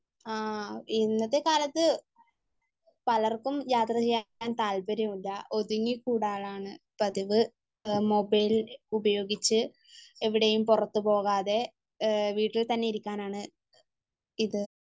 ആഹ് ഇന്നത്തെ കാലത്ത് പലർക്കും യാത്ര ചെയ്യാൻ താല്പര്യമില്ല. ഒതുങ്ങിക്കൂടാറാണ് പതിവ്. മൊബൈൽ ഉപയോഗിച്ച് എവിടെയും പുറത്ത് പോകാതെ വീട്ടിൽ തന്നെ ഇരിക്കാനാണ് ഇത്.